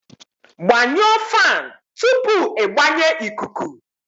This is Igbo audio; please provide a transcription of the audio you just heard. Gbanyụọ fan tupu ịgbanye ikuku